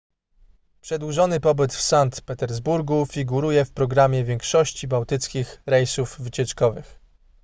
przedłużony pobyt w sankt petersburgu figuruje w programie większości bałtyckich rejsów wycieczkowych